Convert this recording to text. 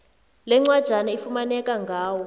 lencwajana ifumaneka ngawo